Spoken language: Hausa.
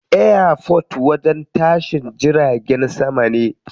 Airport wajen tashin jiragen sama ne.